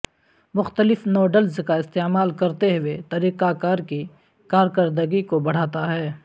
مختلف ٹولز کا استعمال کرتے ہوئے طریقہ کار کی کارکردگی کو بڑھاتا ہے